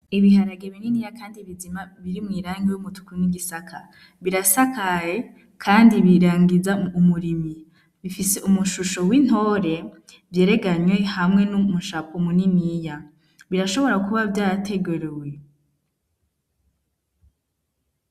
Ibiharage bininiya, kandi bizima biri mwirangi w'umutuku n'igisaka birasakaye, kandi birangiza umurimi bifise umushusho w'intore vyereganywe hamwe n'umushapwa muniniya birashobora kuba vyategerewe.